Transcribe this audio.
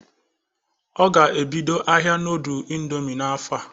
O ga-ebido ahia nudul indomi n'afọ a.